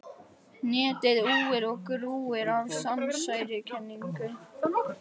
Netið úir og grúir af samsæriskenningum.